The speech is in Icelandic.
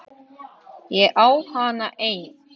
Ég á hana enn.